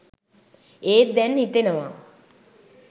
ඒත් දැන් හිතෙනවා